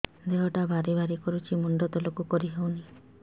ଦେହଟା ଭାରି ଭାରି କରୁଛି ମୁଣ୍ଡ ତଳକୁ କରି ହେଉନି